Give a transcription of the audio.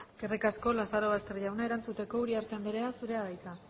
eskerrik asko lazarobaster jauna erantzuteko uriarte andrea zurea da hitza